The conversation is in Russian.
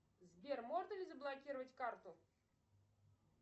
сбер можно ли заблокировать карту